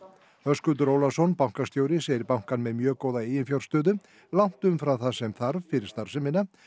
Höskuldur Ólafsson bankastjóri segir bankann með mjög góða eiginfjárstöðu langt umfram það sem þarf fyrir starfsemina